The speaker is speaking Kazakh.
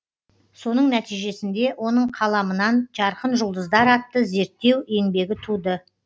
соның нәтижесінде оның қаламынан жарқын жұлдыздар атты зерттеу еңбегі туды